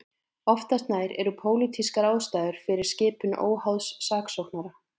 Oftast nær eru pólitískar ástæður fyrir skipun óháðs saksóknara.